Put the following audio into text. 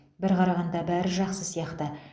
бір қарағанда бәрі жақсы сияқты